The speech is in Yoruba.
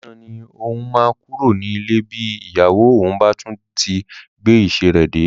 Dìran ni òun máa kúrò nílé bí ìyàwó òun bá tún ti gbé ìṣe rẹ dé